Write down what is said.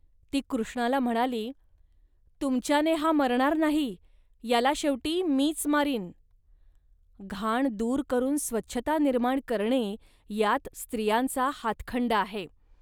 ती कृष्णाला म्हणाली, "तुमच्याने हा मरणार नाही, याला शेवटी मीच मारीन. घाण दूर करून स्वच्छता निर्माण करणे यात स्त्रियांचा हातखंडा आहे